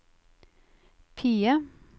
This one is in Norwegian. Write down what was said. PIE